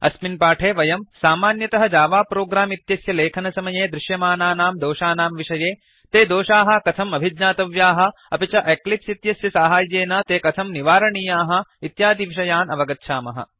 अस्मिन् पाठे वयं सामान्यस्य जावा प्रोग्राम् इत्यस्य लेखनसमये दृश्यमानानां दोषानां विषये ते दोषाः कथम् अभिज्ञातव्याः अपि च एक्लिप्स् इत्यस्य साहाय्येन ते कथं निवारणीयाः इत्यादिविषयान् अवगच्छामः